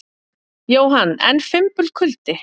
Jóhann: En fimbulkuldi?